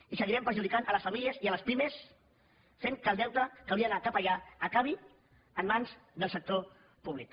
i seguirem perjudicant les famílies i les pimes fent que el deute que hauria d’anar cap allà acabi en mans del sector públic